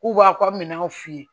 K'u b'a ko a bɛ minɛnw f'i ye